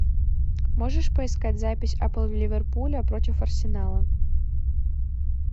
можешь поискать запись апл ливерпуля против арсенала